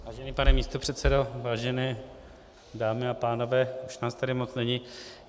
Vážený pane místopředsedo, vážené dámy a pánové, už nás tady moc není.